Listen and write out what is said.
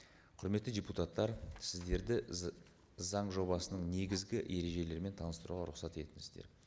құрметті депутаттар сіздерді заң жобасының негізгі ережелерімен таныстыруға рұқсат етіңіздер